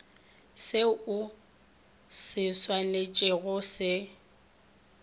seo o swanetšego go se